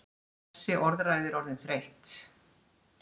Þessi orðræða er orðin þreytt!